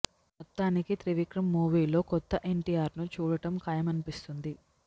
మొత్తానికి త్రివిక్రమ్ మూవీ లో కొత్త ఎన్టీఆర్ ను చూడడం ఖాయమనిపిస్తుంది